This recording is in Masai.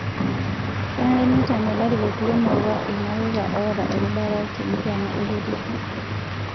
Kenare neitame larikok lemurua lmareita otaa erubata te nkiama e kitisho